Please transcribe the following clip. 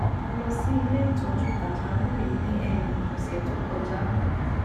a lo si ile itoju pajawiri ni um ose to koja